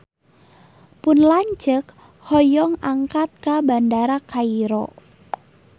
Pun lanceuk hoyong angkat ka Bandara Kairo